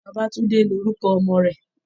Bàbátúndé lórúkọ ọmọ rẹ̀